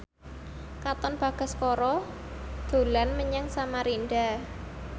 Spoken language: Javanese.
Katon Bagaskara dolan menyang Samarinda